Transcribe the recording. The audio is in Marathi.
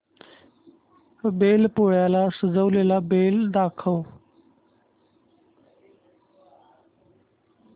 बैल पोळ्याला सजवलेला बैल दाखव